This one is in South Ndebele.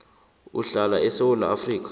uhlala esewula afrika